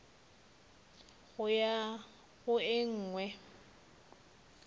go ya go e nngwe